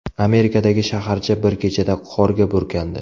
Amerikadagi shaharcha bir kechada qorga burkandi.